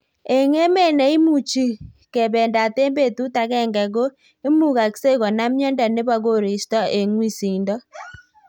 Eng emet neimuchi kebendat eng betut agenge ko imugaksei konam miondo nebo koristo eng wisindo